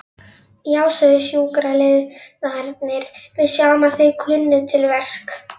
Já, sögðu sjúkraliðarnir, við sjáum að þið kunnið til verka.